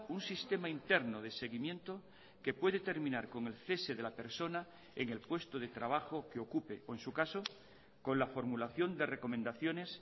un sistema interno de seguimiento que puede terminar con el cese de la persona en el puesto de trabajo que ocupe o en su caso con la formulación de recomendaciones